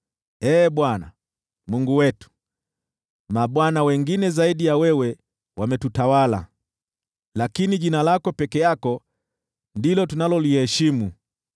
Ee Bwana , Mungu wetu, mabwana wengine zaidi ya wewe wametutawala, lakini jina lako pekee ndilo tunaloliheshimu.